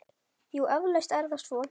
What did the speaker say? Jú, eflaust er það svo.